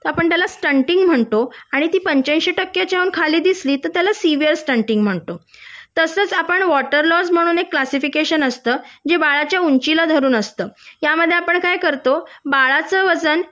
त्याला आपण न स्टंटिंग म्हणतो आणि ती पंच्याऐंशी टक्क्याच्या खाली दिसली की त्याला सिव्हीयर स्टंटिंग म्हणतो तसच आपण एक वॉटर लॉस म्हणून एक क्लासिफिकेशन असत जे बाळाच्या उंचीला धरून असत या मध्ये आपण काय करतो बाळाचं वजन